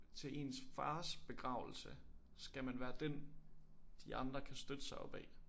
Til ens fars begravelse skal man være dén de andre kan støtte sig op ad